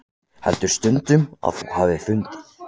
Heldur stundum að þú hafir fundið.